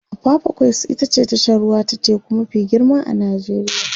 apapa quays ita ce tashar ruwa ta teku mafi girma a Najeriya